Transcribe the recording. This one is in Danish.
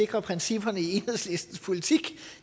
sikrer principperne i enhedslistens politik